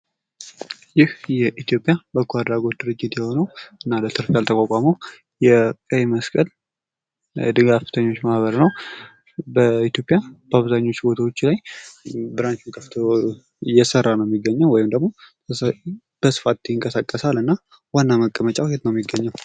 ይህ የኢትዮጵያ በጎ አድራጎት ድርጅት የሆነውና ለትርፍ ያልተቋቋመው የቀይ መስቀል ድጋፍ ሰጭ ማህበር ነው። በኢትዮጲያ በአብዛኞቹ ቦታዎች ላይ ብራንች ከፍቶ እየሰራ ነው የሚገኘው ወይም ደሞ በስት ይንቀሳቀሳልና ዋና መቀመጫው የት ይገኛል?